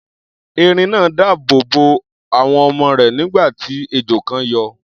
Erin náà dáàbò bo àwọn ọmọ rẹ̀, nígbà tí ejò kan yọ.